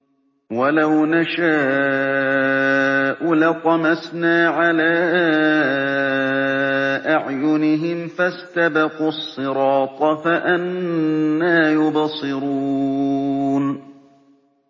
وَلَوْ نَشَاءُ لَطَمَسْنَا عَلَىٰ أَعْيُنِهِمْ فَاسْتَبَقُوا الصِّرَاطَ فَأَنَّىٰ يُبْصِرُونَ